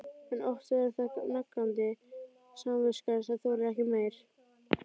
En oftast er það nagandi samviskan sem þolir ekki meir.